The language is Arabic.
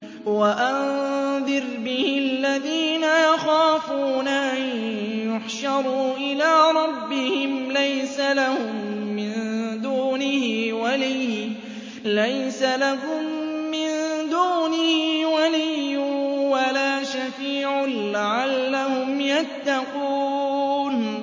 وَأَنذِرْ بِهِ الَّذِينَ يَخَافُونَ أَن يُحْشَرُوا إِلَىٰ رَبِّهِمْ ۙ لَيْسَ لَهُم مِّن دُونِهِ وَلِيٌّ وَلَا شَفِيعٌ لَّعَلَّهُمْ يَتَّقُونَ